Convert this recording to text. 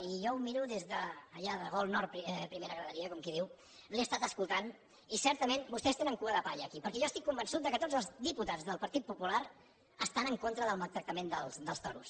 i jo ho miro des d’allà al gol nord primera graderia com qui diu l’he estat escoltant i certament vostès tenen cua de palla aquí perquè jo estic convençut que tots els diputats del partit popular estan en contra del maltractament dels toros